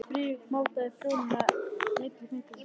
Friðrik mátaði prjónana milli fingra sér.